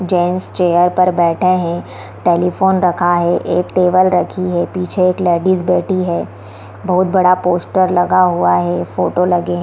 Gents chair पर बैठे है | टेलीफोन रखा है | एक टेबल रखी है | पीछे एक लेडिज बैठी है | बहुत बड़ा पोस्टर लगा हुआ है | फोटो लगे है ।